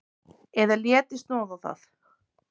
Eða léti snoða það.